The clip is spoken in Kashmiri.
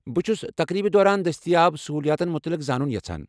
بہٕ چھُس تقریبہِ دوران دستیاب سہوُلِیاتن مٗتعلق زانٗن یژھان ۔